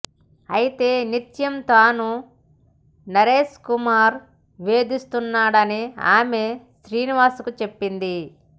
అయితే నిత్యం తనను నరేష్కుమార్ వేధిస్తున్నాడని ఆమె శ్రీనివాస్కు చెప్పింది